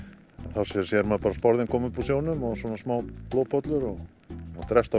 þá sér sér maður bara sporðinn koma upp úr sjónum og smá blóðpollur það drepst á